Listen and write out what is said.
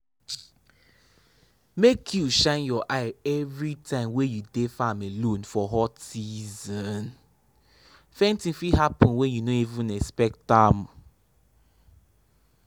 make you shine your eye every time wey you dey farm alone for hot season—fainting fit happen when you no even expect am.